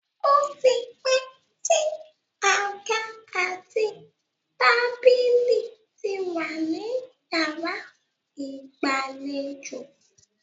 Ó ti pẹ́ tí àga àti tábílì ti wà ní yàrá ìgbàlejò.